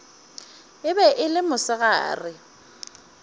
e be e le mosegare